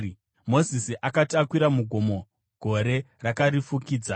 Mozisi akati akwira mugomo, gore rakarifukidza,